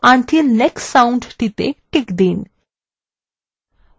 loop until next sound টিতে check দিন